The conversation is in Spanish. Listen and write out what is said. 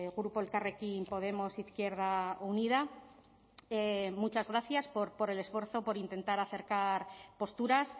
grupo elkarrekin podemos izquierda unida muchas gracias por el esfuerzo por intentar acercar posturas